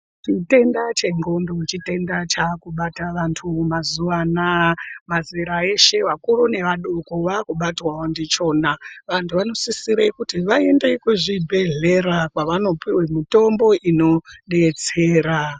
Chitenda chendxondo chitenda chakubata vanhu mazuwa anaya, mazera eshe vakuru nevadoko vakubatwawo ndichona. Vantu vanosisire kuti kuende kuzvibhedhlera kwavanopiwe mitombo inodetsera.